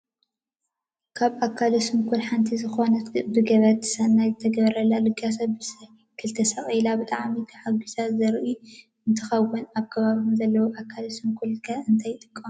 ካብ ኣካለ ሱንኩላን ሓንቲ ዝኮነት ብገበርቲ ሰናይ ዝተገበረላ ልገሳ ብሳይክ ተሰቂላ ብጣዕሚ ተሓጉሳ ዘርኢ እንትከውን፣ ኣብ ከባቢኩም ዘለው ኣካለ ሱንኩላን ከ እንታይ ይጥቀሙ?